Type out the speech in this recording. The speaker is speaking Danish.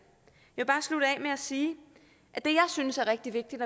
jeg at sige at det jeg synes er rigtig vigtigt